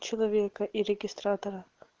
человека и регистратора